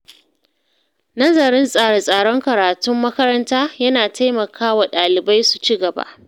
Nazarin tsare-tsaren karatun makaranta ya na taimaka wa ɗalibai su ci gaba.